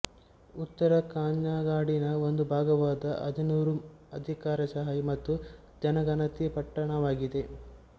ಉತ್ತರ ಕಾಞ್ಞಂಗಾಡಿನ ಒಂದು ಭಾಗವಾದ ಅಜಾನೂರು ಅಧಿಕಾರಶಾಹಿ ಮತ್ತು ಜನಗಣತಿ ಪಟ್ಟಣವಾಗಿದೆ